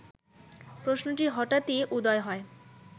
প্রশ্নটি হঠাৎই উদয় হয়